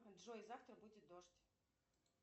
джой завтра будет дождь